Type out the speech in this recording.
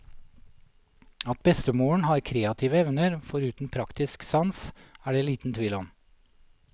At bestemoren har kreative evner, foruten praktisk sans, er det liten tvil om.